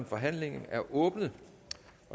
forhandlingen er åbnet